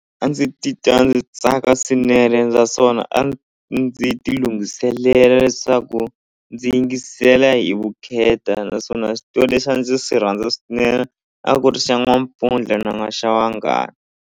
A ndzi ti twa ndzi tsaka swinene naswona a ndzi ndzi ti lunghiselela leswaku ndzi yingisela hi vukheta naswona xitori lexi a ndzi swi rhandza swinene a ku ri xa n'wampfundla na []?] xa wanghala.